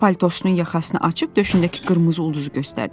O paltosunun yaxasını açıb döşündəki qırmızı ulduzu göstərdi.